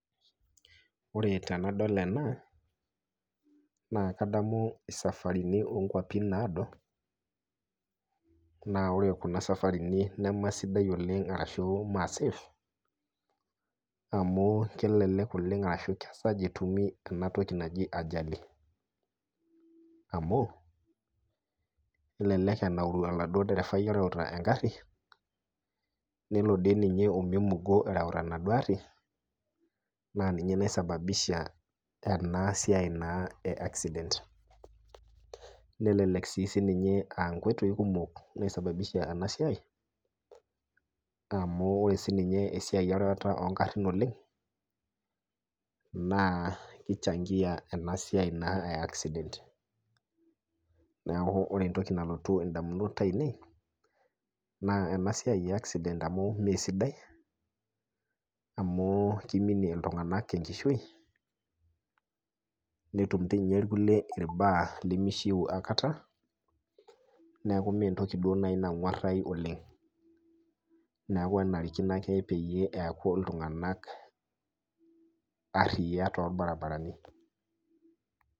Ore tenadol ena naa kadamu safarini ookwapi naado naa ore kuna safarini nemesidan oleng ashu meesafe ,amu kelelek oleng esesha etumi enatoki najo ajali. amu kelelek enauru oladuo derefai oreuta engari, nelo dii ninye omeimungo erewita enduo gari naa ninye niasababisha ena accident nelelek aa nkoitoi kumok naisababisha ena siai amu ore siininye erewata ongarin oleng naa kichangia naa ena siai e accident. neeku ore entoki nalotu ndamunot ainei naa ena siai e accident amu mesidai ,amu kiminie iltunganak enkishui netum dii ninye irkulie irbaa lemishiu aikata neeku meeduo naaji entoki nagwarayu oleng. neeku enarikino ake pee eku iltunganak ariak torbaribarani.